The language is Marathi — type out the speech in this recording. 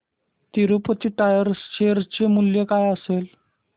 तिरूपती टायर्स शेअर चे मूल्य काय असेल